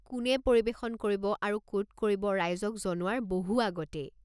কোনে পৰিৱেশন কৰিব আৰু ক'ত কৰিব-ৰাইজক জনোৱাৰ বহু আগতেই?